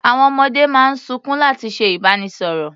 Àwọn ọmọdé máa ń sunkún láti ṣe ìbánisọ̀rọ̀.